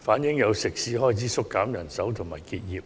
反映有食肆開始縮減人手及結業。